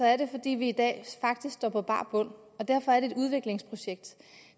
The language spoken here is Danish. er det fordi vi i dag faktisk står på bar bund og derfor er det et udviklingsprojekt